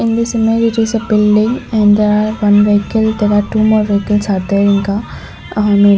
in this image there is a building and there are one vehicle there are two more vehicles are there ahm --